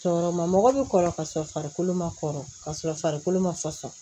Cɔɔrɔ ma mɔgɔ bi kɔrɔ ka sɔrɔ farikolo ma kɔrɔ kasɔrɔ farikolo ma fasɔsɔ